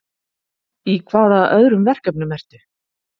Í hvaða öðrum verkefnum ertu?